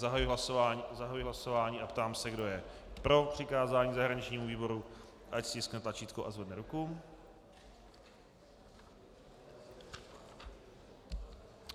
Zahajuji hlasování a ptám se, kdo je pro přikázání zahraničnímu výboru, ať stiskne tlačítko a zvedne ruku.